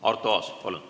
Arto Aas, palun!